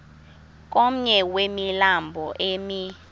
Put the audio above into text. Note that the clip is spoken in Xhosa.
komnye wemilambo emi